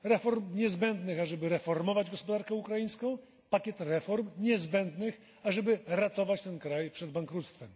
Reform niezbędnych, ażeby reformować gospodarkę ukraińską, pakiet reform niezbędnych, ażeby ratować ten kraj przed bankructwem.